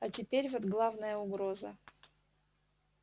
а теперь вот главная угроза